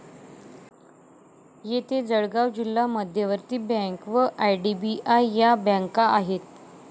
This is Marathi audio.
येथे जळगाव जिल्हा मध्यवर्ती बँक व आय डी बी आय या बँका आहेत.